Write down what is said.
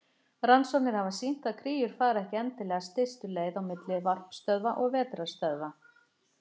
Rannsóknir hafa sýnt að kríur fara ekki endilega stystu leið á milli varpstöðva og vetrarstöðva.